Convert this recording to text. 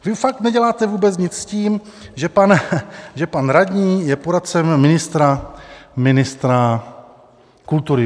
Vy fakt neděláte vůbec nic s tím, že pan radní je poradcem ministra kultury.